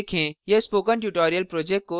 यह spoken tutorial project को सारांशित करता है